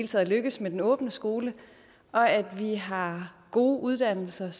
tages lykkes med den åbne skole og at vi har gode uddannelser